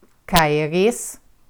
Kaj res?